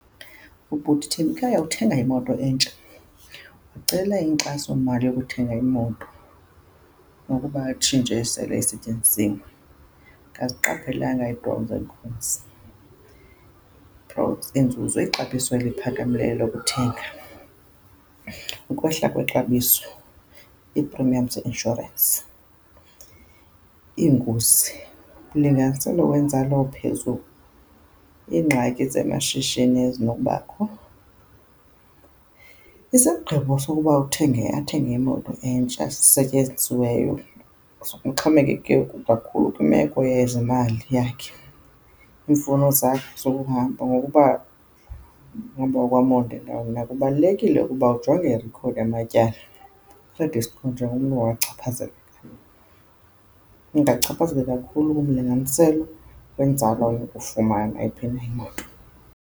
Ubhuti Thembikhaya uthenga imoto entsha. Wacela inkxasomali yokuthenga imoto nokuba atshintshe esele isetyenzisiwe. Akaziqaphelanga ii pros and cons, pros inzuzo ixabiso eliphakamileyo lokuthenga, ukwehla kwexabiso, ii-premiums ze-insurance, iingozi, umlinganiselo wenzala ophezulu, iingxaki zamashishini ezinokubakho. Isigqibo sokuba uthenge, athenge imoto entsha esetyenzisiweyo uxhomekeke kakhulu kwimeko yezemali yakhe, iimfuno zakhe zokuhamba ngokuba uhamba kwemoto nako kubalulekile ukuba ujonge imeko yakho yamatyala i-credit score njengomntu owachaphazelekayo. Ungachaphazela kakhulu kumlinganiselo wenzala onokufumana xa iphela imoto.